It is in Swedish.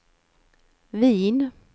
Wien